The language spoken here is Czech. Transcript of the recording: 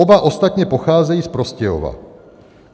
Oba ostatně pocházejí z Prostějova.